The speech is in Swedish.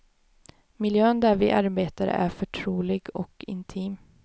Miljön där vi arbetar är förtrolig och intim.